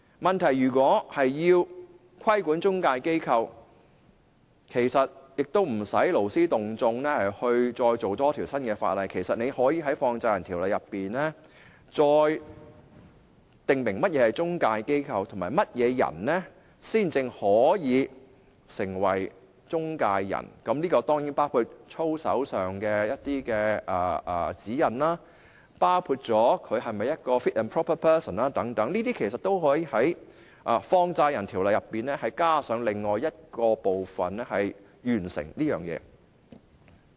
問題是，如果要規管中介公司，其實不用勞師動眾多訂立一條新的法例，可以在《條例》裏再訂明何謂中介公司及甚麼人才可以成為中介公司，這當然包括操守上的一些指引，包括他是否一個 fit and proper person 等，這項工作可以透過在《條例》裏加上另一部分來做到。